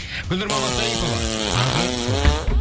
гүлнұр мамасарипова таңғы шоуда